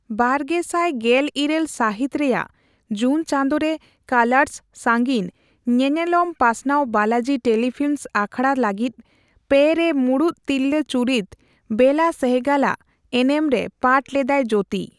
ᱵᱟᱨᱜᱮᱥᱟᱭ ᱜᱮᱞᱤᱨᱟᱹᱞ ᱥᱟᱹᱦᱤᱛ ᱨᱮᱭᱟᱜ ᱡᱩᱱ ᱪᱟᱸᱫᱳ ᱨᱮ, ᱠᱟᱞᱟᱨᱥ ᱥᱟᱸᱜᱤᱧ ᱧᱮᱱᱮᱞᱚᱢ ᱯᱟᱥᱱᱟᱣ ᱵᱟᱞᱟᱡᱤ ᱴᱮᱞᱤᱯᱷᱤᱞᱤᱢᱥ ᱟᱠᱷᱟᱲᱟ ᱞᱟᱹᱜᱤᱫ ᱓ᱼᱨᱮ ᱢᱩᱬᱩᱛ ᱛᱤᱨᱞᱟᱹ ᱪᱩᱨᱤᱛ ᱵᱮᱞᱟ ᱥᱮᱦᱚᱜᱟᱞ ᱟᱜ ᱮᱱᱮᱢ ᱨᱮ ᱯᱟᱴ ᱞᱮᱫᱟᱭ ᱡᱳᱛᱤ ᱾